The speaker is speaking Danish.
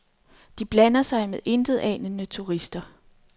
De blander sig med intetanende turister.